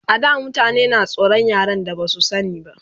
A da mutane na tsoran yaren da Basu sani ba